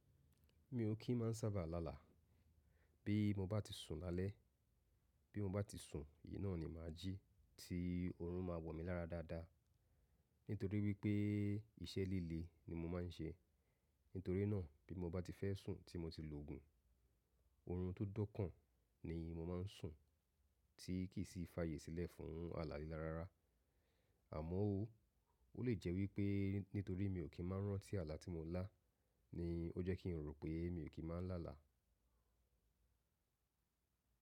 Mi ò kí n máa ń sábà lálàá. Bí mo bá ti sùn lálẹ́, bí mo bá ti sùn, ìn naá ni màá jí tí oorun máa wọ mi lára dáadáa. Nítorí wípé iṣẹ́ líle ni mo máa ń ṣe. Nítorí náà bí mo bá ti fẹ́ sùn tí mo ti lo òògùn, oorun tó dọ́kàn ni mo máa ń sùn tí kì í sì fàyè sílẹ̀ fún àlà lílà rárá. Àmọ́ ó, ó lè jẹ́ wípé nítorí mi ò kí ń máa rántí àlà tí mo lá ni ó jẹ́ kí n rò pé mi ò kí ń máa ń lálàá.